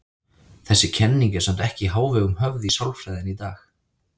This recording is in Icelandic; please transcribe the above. Þessi kenning er samt ekki í hávegum höfð í sálfræðinni í dag.